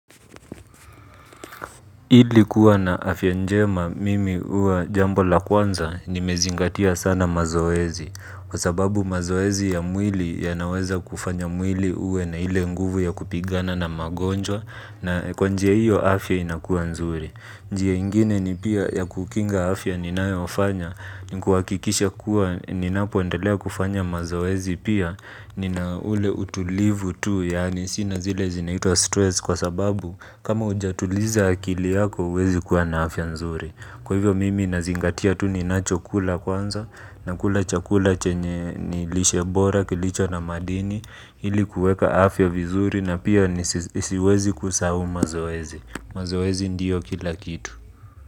Ili kuwa na afya njema mimi huwa jambo la kwanza nimezingatia sana mazoezi. Kwa sababu mazoezi ya mwili yanaweza kufanya mwili uwe na ile nguvu ya kupigana na magonjwa na kwa njia iyo afya inakuwa nzuri. Njia ingine ni pia ya kukinga afya ni nae wafanya ni kuakikisha kuwa ni napoendelea kufanya mazoezi pia ni na ule utulivu tu yaani sinazile zinaitua stress kwa sababu. Kama ujatuliza akili yako uwezi kuwa na afya nzuri. Kwa hivyo mimi nazingatia tuninachokula kwanza. Na kula chakula chenye nilishebora kilicho na madini. Hili kueka afya vizuri na pia nisiwezi kusahu mazoezi. Mazoezi ndiyo kila kitu.